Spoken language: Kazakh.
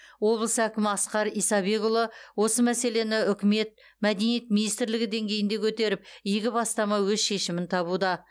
облыс әкімі асқар исабекұлы осы мәселені үкімет мәдениет министрлігі деңгейінде көтеріп игі бастама өз шешімін табуда